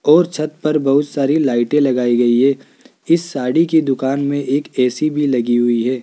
और छत पर बहुत सारी लाइटें लगाई गई है इस साड़ी की दुकान में एक ए_सी भी लगी हुई है।